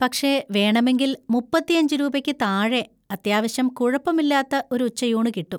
പക്ഷെ വേണമെങ്കിൽ മുപ്പത്തിയഞ്ച് രൂപയ്ക്ക് താഴെ അത്യാവശ്യം കുഴപ്പമില്ലാത്ത ഒരു ഉച്ചയൂണ് കിട്ടും.